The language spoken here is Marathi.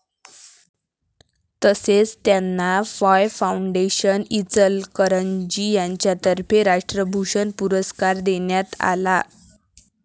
तसेच त्यांना फाय फाऊंडेशन, इचलकरंजी यांच्यातर्फे राष्ट्रभूषण पुरस्कार देण्यात आला.